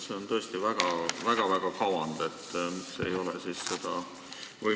See on tõesti väga-väga kavand.